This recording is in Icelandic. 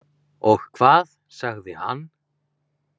Og hvað sagði hann?